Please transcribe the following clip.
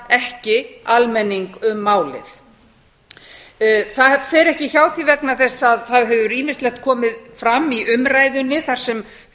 ekki almenning um málið það fer ekki hjá því vegna þess að það hefur ýmislegt komið fram í umræðunni þar sem